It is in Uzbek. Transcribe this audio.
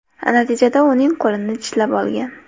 Natijada uning qo‘lini tishlab olgan.